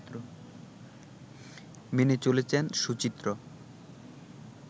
মেনে চলেছেন সুচিত্র